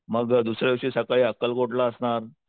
मग दुसऱ्या दिवशी सकाळी अक्कलकोट ला असणार,